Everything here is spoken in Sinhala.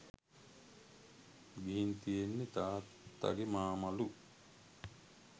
ගිහින් තියෙන්නෙ තාත්තගෙ මාමලු